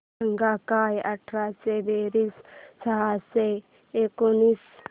सांग काय अठरा बेरीज सहाशे एकोणीस